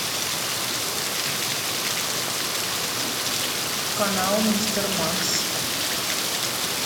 канал мистер макс